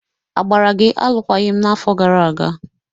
A gbara gi alụkwaghịm n'afọ gara aga?